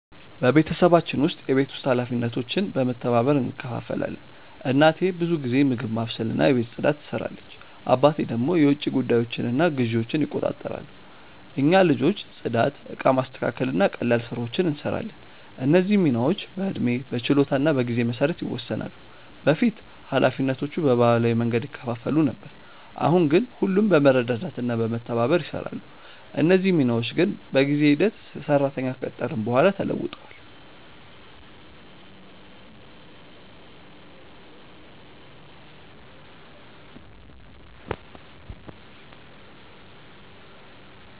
በቤተሰባችን ውስጥ የቤት ውስጥ ኃላፊነቶች በመተባበር እንከፋፈላለን። እናቴ ብዙ ጊዜ ምግብ ማብሰልና የቤት ፅዳት ትሰራለች፣ አባቴ ደግሞ የውጭ ጉዳዮችንና ግዢዎችን ይቆጣጠራሉ። እኛ ልጆች ጽዳት፣ እቃ ማስተካከል እና ቀላል ስራዎችን እንሰራለን። እነዚህ ሚናዎች በዕድሜ፣ በችሎታ እና በጊዜ መሰረት ይወሰናሉ። በፊት ኃላፊነቶቹ በባህላዊ መንገድ ይከፋፈሉ ነበር፣ አሁን ግን ሁሉም በመረዳዳት እና በመተባበር ይሰራሉ። እነዚህ ሚናዎች ግን በጊዜ ሂደት ሰራተኛ ከቀጠርን በኋላ ተለውጧል።